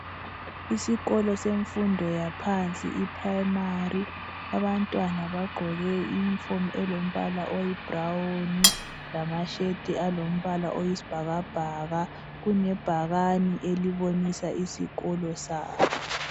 Isikolo semfundo yaphansi i-Primary. Abantwana bagqoke iyunifomi elombala oyi brown lamayembe alombala oyisibhakabhaka. Kulebhakane elibonisa isikolo sabo.